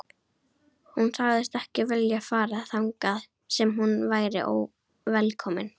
Hún sagðist ekki vilja fara þangað sem hún væri óvelkomin.